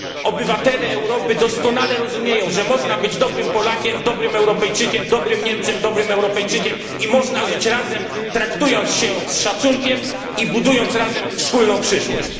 Obywatele Europy doskonale rozumieją, że można być dobrym Polakiem, dobrym Europejczykiem, dobrym Niemcem, i można żyć razem, traktując się z szacunkiem i budując razem wspólną przyszłość.